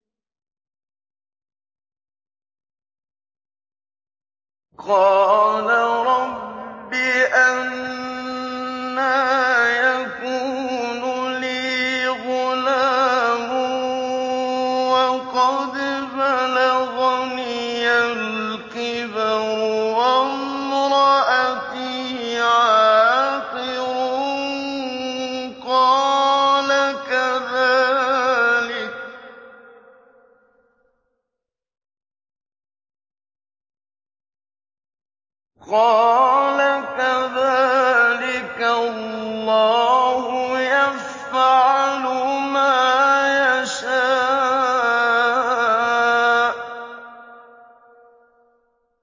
قَالَ رَبِّ أَنَّىٰ يَكُونُ لِي غُلَامٌ وَقَدْ بَلَغَنِيَ الْكِبَرُ وَامْرَأَتِي عَاقِرٌ ۖ قَالَ كَذَٰلِكَ اللَّهُ يَفْعَلُ مَا يَشَاءُ